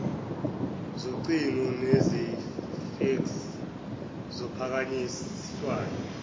zocingo nezefeksi zophakanyiswayo